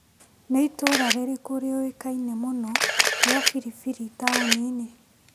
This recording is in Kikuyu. Nĩ itũra rĩrĩkũ rĩũĩka-ine mũno rĩa biribiri taũni-inĩ ?